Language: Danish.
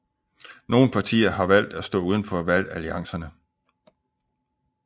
Nogle partier har valgt at stå udenfor valgalliancerne